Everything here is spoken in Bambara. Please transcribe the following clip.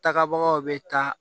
Tagabagaw bɛ taa